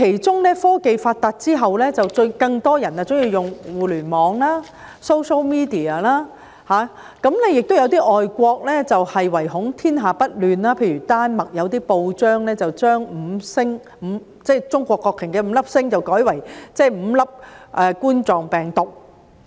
在科技發達之後，更多人喜歡使用互聯網、social media， 亦有些國家唯恐天下不亂，例如有些丹麥報章把中國國旗的五粒星改為五粒冠狀病毒。